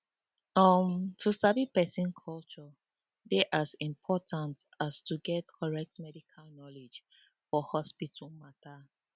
uhm to sabi person culture dey as important as to get correct medical knowledge for hospital matter